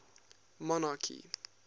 monarchy